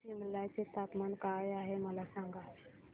सिमला चे तापमान काय आहे मला सांगा